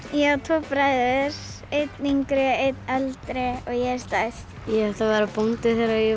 ég á tvo bræður einn yngri einn eldri og ég er stærst ég ætla að vera bóndi þegar ég